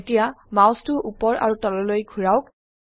এতিয়া মাউসটো উপৰ আৰু তললৈ ঘোৰাওক